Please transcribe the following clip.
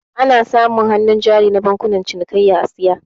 Ana samun hannu jari na bankunan cinikayya a saya